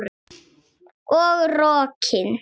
Og rokin.